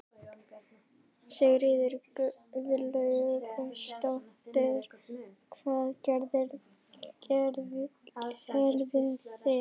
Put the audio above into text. Sigríður Guðlaugsdóttir: Hvað gerðuð þið?